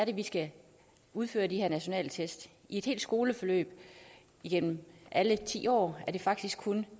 vi skal udføre de her nationale test i et helt skoleforløb igennem alle ti år er det faktisk kun